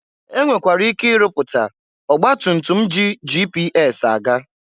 E nwekwara ike ịrụpụta ọgbatutum ji GPS aga.